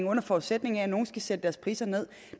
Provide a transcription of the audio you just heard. under forudsætning af at nogle skal sætte deres priser med